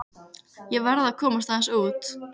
Ég verð að komast aðeins út.